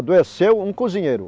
Adoeceu um cozinheiro.